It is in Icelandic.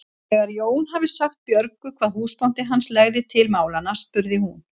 Þegar Jón hafði sagt Björgu hvað húsbóndi hans legði til málanna spurði hún